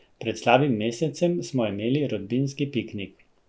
Pred slabim mesecem smo imeli rodbinski piknik.